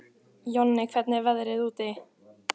Jonni, hvernig er veðrið úti?